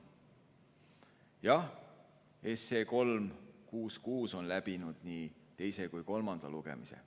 Jah, 366 SE on läbinud nii teise kui ka kolmanda lugemise.